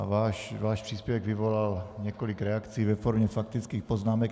A váš příspěvek vyvolal několik reakcí ve formě faktických poznámek.